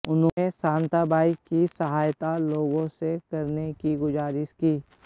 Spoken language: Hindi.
उन्होंने शांताबाई की सहायता लोगों से करने की गुजारिश की